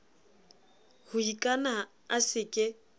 ho ikana a se ke